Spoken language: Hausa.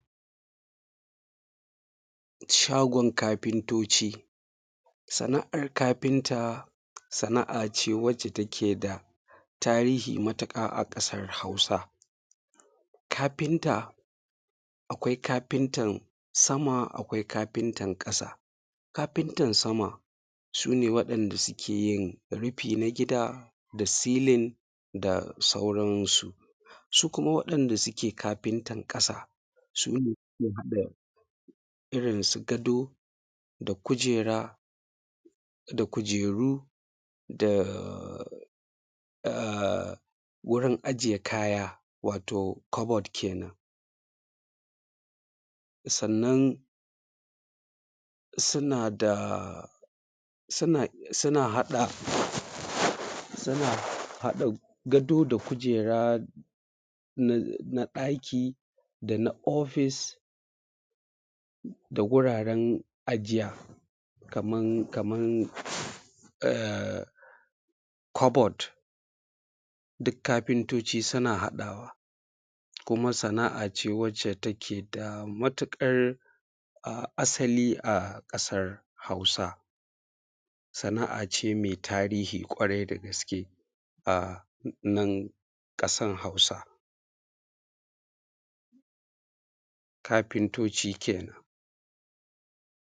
shagon kafintooci. Sana’ar kafinta sana’a ce wacce take da tarihii matuƙa a ƙasar Hausa.. Kaafinta, akwai kaafintan sama akwai kaafintan ƙasa. kaafintan sama su nee waɗanda suke yin rufin gida da silin da sauransu. Su kumaa waɗanda sukee kaafintan ƙasa, s\u nee s\ukee haɗa irinsu gado da kujera da kujeruu da wurin ajiye kaya, waatoo kobod kenan.. Sannan sunaa daa, suna haɗa, suna haɗa gado da kujera na ɗaki da na ofis da wuraren ajiya, kamar kobod duk kaafintooci suna haɗawa.. Kumaa sana’a ce wadda take da matuƙar asali a ƙasar Hausa. Sana’a ce mai tarihi ƙwarai da gaske a nan ƙasar hausa, kaafintooci kenan.